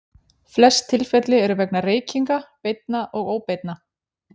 Flest tilfelli eru vegna reykinga, beinna og óbeinna.